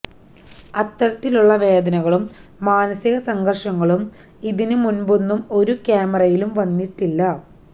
അത്തരത്തിലുള്ള വേദനകളും മാനസിക സംഘര്ഷങ്ങളും ഇതിന് മുന്പൊന്നും ഒരു ക്യാമറയിലും വന്നിട്ടില്ല